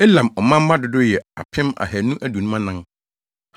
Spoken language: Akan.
Elam ɔmanmma dodow yɛ 2 1,254 1